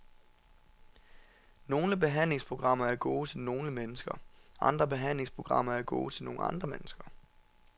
Nogle behandlingsprogrammer er gode til nogle mennesker, andre behandlingsprogrammer er gode til nogle andre mennesker.